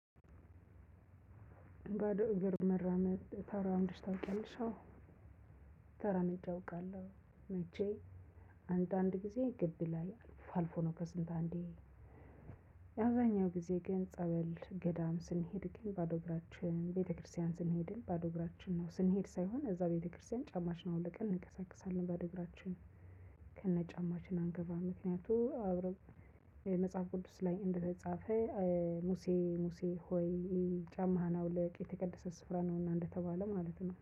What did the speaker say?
ባዶ እግር መራመድ ተራምደሽ ታውቂያለሽ አዎ ተራምጄ አውቃለሁ። መቼ? አንዳንድ ጊዜ ግድ ይላል አልፎ ነው ከስንት አንዴ። አብዛኛው ጊዜ ግን ጸበል ገዳም ስንሄድ ግን ባዶ እግራችን ቤተክርስቲያን ስንሄድ ባዶ እግራችን ነው ስንሄድ ሳይሆን እዛ ቤተክርስቲያን ጫማችንን አውልቀን እንቀሳቅሳለን ባዶ እግራችን። ከነ ጫማችን አንገባም ምክንያቱም አብረው መጽሐፍ ቅዱስ ላይ እንደተጻፈ። ሙሴ ሙሴ ሆይ። ጫማህን አውልቅ የተቀደሰ ስፍራ ነውና እንደተባለ ማለት ነው